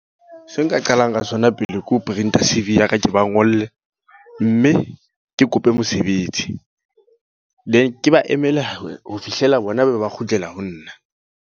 Se nka qalang ka sona pele, ke ho printer C_V ya ka ke ba ngolle. Mme ke kope mosebetsi. Then ke ba emele ho fihlela bona ba be ba kgutlela ho nna.